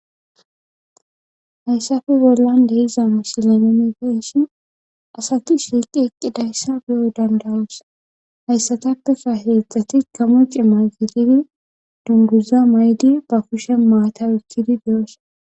Haysappe bollan de'za misile nuni be'ashn asati shiiqi eqidaysa beyo danda'os. Haysatappeka hezdzdati gamo cimata gidishn dunguza mayidi ba kusheni maata oykid de'osona.